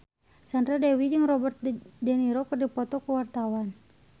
Sandra Dewi jeung Robert de Niro keur dipoto ku wartawan